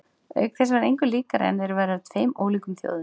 Auk þess var engu líkara en þeir væru af tveim ólíkum þjóðum.